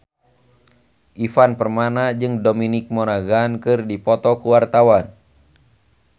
Ivan Permana jeung Dominic Monaghan keur dipoto ku wartawan